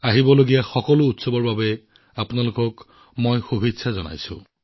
আগন্তুক উৎসৱৰ বাবে আপোনালোক সকলোকে বহুত বহুত অভিনন্দন জনাইছো